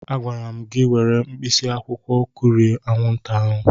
A gwara m gị were mkpịsị akwụkwọ kụrie anwụnta ụnyahụ.